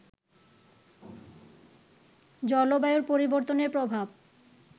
জলবায়ুর পরিবর্তনের প্রভাব